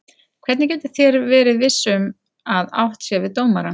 Hvernig getið þér verið viss um að átt sé við dómarann?